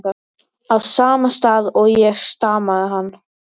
á sama stað og ég, stamaði hann.